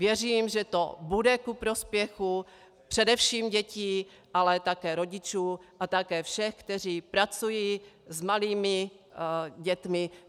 Věřím, že to bude ku prospěchu především dětí, ale také rodičů a také všech, kteří pracují s malými dětmi.